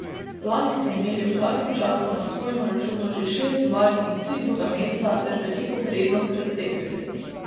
Lani ste imeli ob takem času na svojem računu že šest zmag in tri druga mesta ter veliko prednost pred tekmeci.